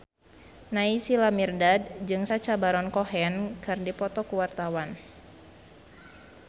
Naysila Mirdad jeung Sacha Baron Cohen keur dipoto ku wartawan